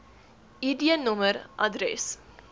id nommer adres